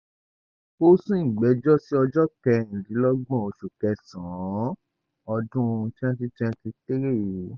ó sún ìgbẹ́jọ́ sí ọjọ́ kẹrìndínlọ́gbọ̀n oṣù kẹsàn-án ọdún twenty twenty three yìí